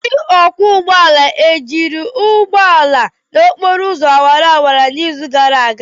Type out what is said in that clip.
Ndị ọkwọ ụgbọala ejiri ụgbọ ala n'okporo ụzọ awara awara n'izu gara aga?